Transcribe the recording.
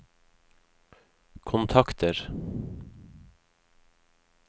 kontakter